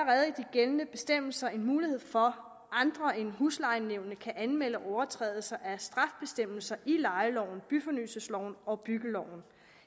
gældende bestemmelser en mulighed for at andre end huslejenævnet kan anmelde overtrædelser af straffebestemmelser i lejeloven byfornyelsesloven og byggeloven